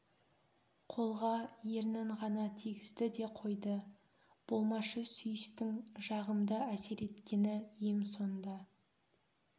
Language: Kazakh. қолға ернін ғана тигізді де қойды болмашы сүйістің жағымды әсер еткені ем сонда